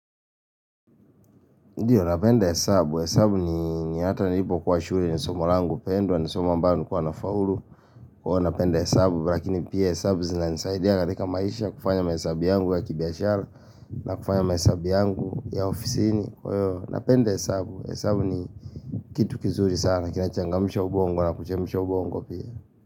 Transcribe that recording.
Ndiyo, napenda hesabu. Hesabu ni hata nilipo kuwa shuri ni somo langu pendwa, ni somo ambayo nikuwa na faulu. Kwa napenda hesabu, lakini pia hesabu zina nisaidia katika maisha kufanya mahesabu yangu ya kibia shara na kufanya mahesabu yangu ya ofisi ni. Kwa napenda hesabu, hesabu ni kitu kizuri sana, kinachangamisha ubongo na kuchemisha ubongo pia.